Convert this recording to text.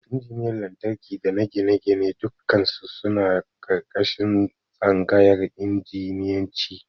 Injiniyan Lantarki dana Gine-gine dukkannisu suna ƙarƙashin Tsangayar Injiniyanci.